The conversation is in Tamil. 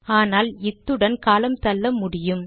ஆனால் இத்துடன் காலம் தள்ள முடியும்